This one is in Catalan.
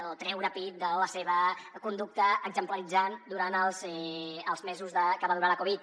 o treure pit de la seva conducta exemplaritzant durant els mesos que va durar la covid